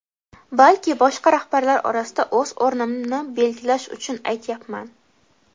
balki boshqa rahbarlar orasida o‘z o‘rnimni belgilash uchun aytyapman.